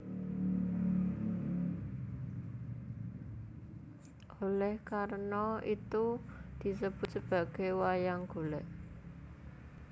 Oleh karena itu disebut sebagai wayang golek